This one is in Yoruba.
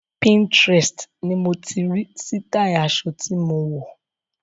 Pinterest ni mo ti rí sítáì aṣọ tí mo wọ̀.